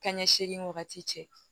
Kan ɲɛ seegin wagati cɛ